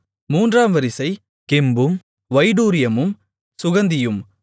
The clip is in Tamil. மூன்றாம் வரிசை கெம்பும் வைடூரியமும் சுகந்தியும்